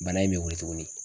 Bana in bɛ wili tugunni.